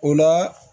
O la